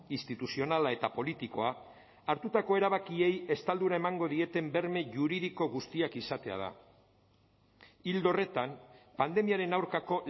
instituzionala eta politikoa hartutako erabakiei estaldura emango dieten berme juridiko guztiak izatea da ildo horretan pandemiaren aurkako